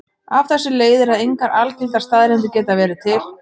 Af þessu leiðir að engar algildar staðreyndir geta verið til.